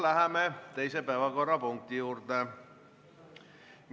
Läheme teise päevakorrapunkti juurde.